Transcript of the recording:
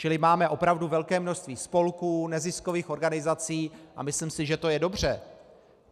Čili máme opravdu velké množství spolků, neziskových organizací a myslím si, že to je dobře.